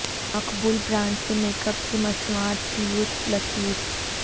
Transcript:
مقبول brands سے makeup کی مصنوعات کی یوتھ لکیر